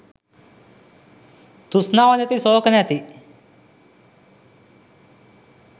තෘෂ්ණාව නැති ශෝක නැති